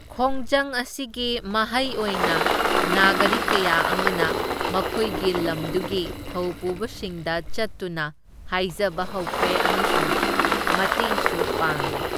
ꯈꯣꯡꯖꯪ ꯑꯁꯤꯒꯤ ꯃꯍꯩ ꯑꯣꯏꯅ ꯅꯥꯒꯔꯤꯛ ꯀꯌꯥ ꯑꯃꯅ ꯃꯈꯣꯢꯒꯤ ꯂꯝꯗꯨꯒꯤ ꯊꯧꯄꯨꯕꯁꯤꯡꯗ ꯆꯠꯇꯨꯅ ꯍꯥꯢꯖꯕ ꯍꯧꯈ꯭ꯔꯦ ꯑꯃꯁꯨꯡ ꯃꯇꯦꯡꯁꯨ ꯄꯥꯡꯂꯦ꯫